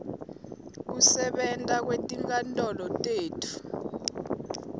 kusebenta kwetinkantolo tetfu